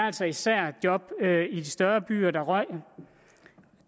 altså især job i de større byer der røg